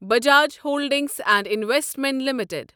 Bajaj holdings and investment limited